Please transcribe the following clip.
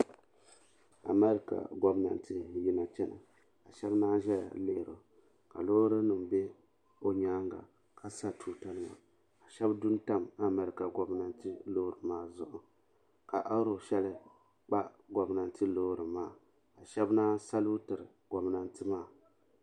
Amarka gomnanti yina chɛna ka shɛba ŋmaa zɛya lihiri o ka loori nim bɛ o yɛanga ka sa tuuta nima ka shɛba du n tam Amarka gomnanti loori maa zuɣu ka aro shɛli kpa gomnanti loori maa ka shɛba manyi saluutiri gomnanti maa.